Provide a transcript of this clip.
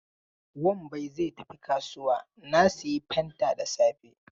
Wambai zai tafi kasuwa na sayi fanta da safe.